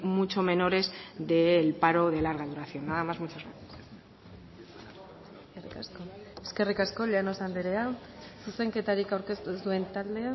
mucho menores del paro de larga duración nada más muchas gracias eskerrik asko llanos anderea zuzenketarik aurkeztu ez duen taldea